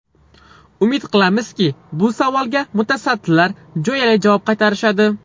Umid qilamizki, bu savolga mutasaddilar jo‘yali javob qaytarishadi.